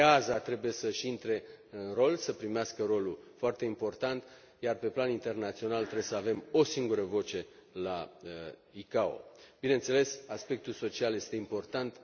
AESA trebuie să și intre în rol, să primească rolul foarte important, iar pe plan internațional trebuie să avem o singură voce la OACI. Bineînțeles, aspectul social este important.